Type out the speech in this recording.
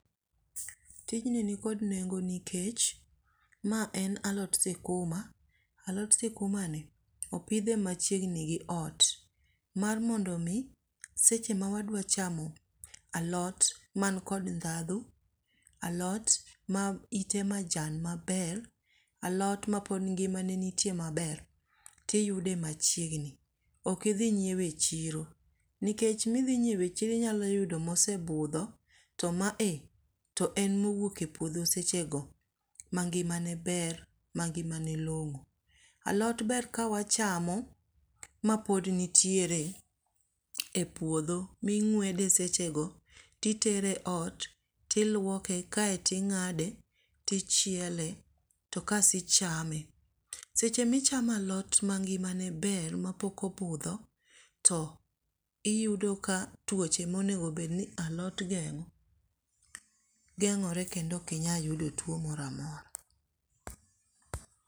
Tijni nikod nengo nikech mae en alot sikuma, alot sikumani opidhe machiegni gi ot. Mar mondo mi seche mawadwa chamo alot man kod ndhadhu alot maite majan maber, alot mopod ngimane nitie maber, toiyude machiegni. Ok idhi nyiewo e chiro nikech ma idhi nyiewo e chiro inyalo yudo ma osebudho to mae to en mowuok e puodho sechego mangimane ber mangimane long'o. Alot ber ka wachamo mapod nitiere epuodho ming'uede sechego to itere ot to iluoke kaeto ing'ade to ichiele to kasto ichame. Seche ma ichamo alot mangimane ber ma pok obudho to iyudo ka tuoche monego bedni alot geng'o geng'ore kendo ok inyal yudo tuo moro amora.